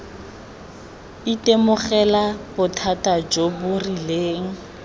itemogela bothata jo bo rileng